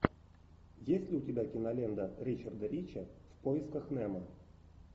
есть ли у тебя кинолента ричарда рича в поисках немо